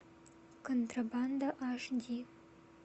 контрабанда аш ди